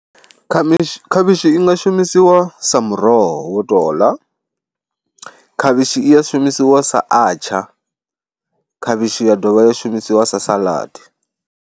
Khavhishi, khavhishi i nga shumisiwa sa muroho wo tou ḽa, khavhishi i ya shumisiwa sa atsha, khavhishi ya dovha ya shumisiwa sa saḽadi.